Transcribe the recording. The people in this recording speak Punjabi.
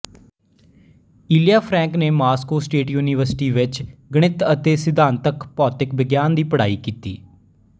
ਇਲਿਆ ਫਰੈਂਕ ਨੇ ਮਾਸਕੋ ਸਟੇਟ ਯੂਨੀਵਰਸਿਟੀ ਵਿੱਚ ਗਣਿਤ ਅਤੇ ਸਿਧਾਂਤਕ ਭੌਤਿਕ ਵਿਗਿਆਨ ਦੀ ਪੜ੍ਹਾਈ ਕੀਤੀ